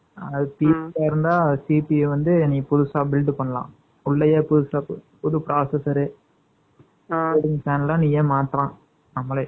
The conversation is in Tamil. CPI வந்து, நீ புதுசா build பண்ணலாம். உள்ளேயே, புதுசா புது processor , 10 . நீயே மாத்தலாம், நம்மளே